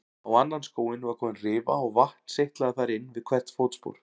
Á annan skóinn var komin rifa og vatn seytlaði þar inn við hvert fótspor.